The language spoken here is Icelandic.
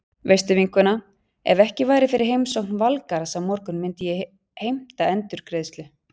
Veistu vinkona, ef ekki væri fyrir heimsókn Valgarðs á morgun myndi ég heimta endurgreiðslu.